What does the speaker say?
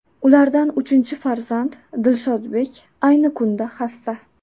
Ulardan uchinchi farzand Dilshodbek ayni kunda xasta.